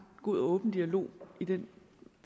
god og åben dialog i den